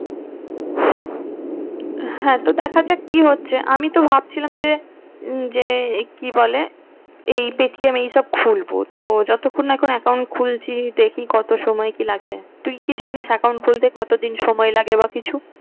হ্যাঁ তো দেখা যাক কি হচ্ছে আমি তো ভাবছিলাম যে উম যে কি বলে এই পেটিএম এই সব খুলবো তো যতক্ষণ না এখন account খুলছি দেখি কত সময় কি লাগছে। তুই কি জানিস account খুলতে কতদিন কি সময় লাগে বা কিছু?